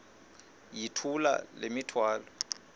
yithula le mithwalo